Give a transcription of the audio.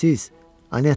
Siz, Anetta!